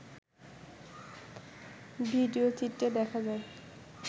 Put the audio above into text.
ভিডিওচিত্রে দেখা যায়